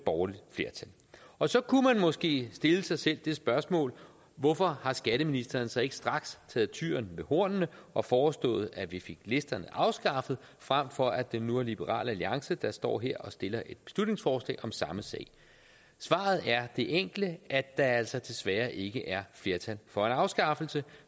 og og så kunne man måske stille sig selv det spørgsmål hvorfor har skatteministeren så ikke straks taget tyren ved hornene og foreslået at vi fik listerne afskaffet frem for at det nu er liberal alliance der står her og stiller et beslutningsforslag om samme sag svaret er det enkle at der altså desværre ikke er flertal for en afskaffelse